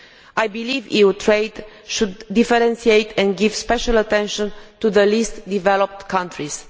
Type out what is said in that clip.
I believe EU trade should differentiate and give special attention to the least developed countries.